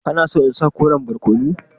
Kana so in sa koren barkono?